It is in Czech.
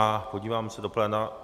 A podívám se do pléna.